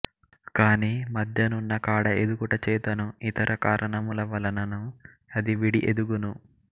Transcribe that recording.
కాని మధ్య నున్న కాడ ఎదుగుట చేతను ఇతర కారణముల వలనను అది విడి ఎదుగును